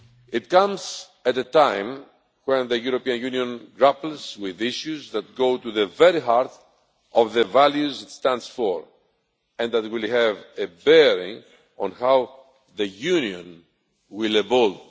It comes at a time when the European Union is grappling with issues that go to the very heart of the values it stands for, and that will have a bearing on how the Union will evolve.